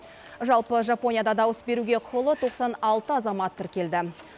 жалпы жапонияда дауыс беруге құқылы тоқсан алты азамат тіркелді